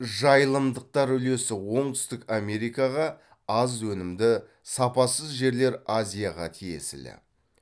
жайылымдықтар үлесі оңтүстік америкаға аз өнімді сапасыз жерлер азияға тиесілі